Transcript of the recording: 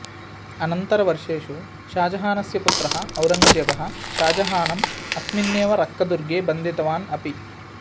अनन्तरवर्षेषु षाजहानस्य पुत्रः औरङ्गजेबः षाहजहानम् अस्मिन्नेव रक्कदुर्गे बन्धितवान् अपि